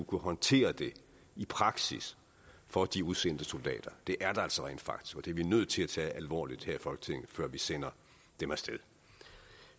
kunne håndtere det i praksis for de udsendte soldater det er der altså rent faktisk og det er vi nødt til at tage alvorligt her i folketinget før vi sender dem af sted